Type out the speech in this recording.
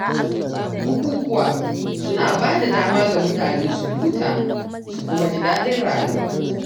Bukukuwa suna bada dama ga mutane su huta su kuma ji daɗin rayuwa.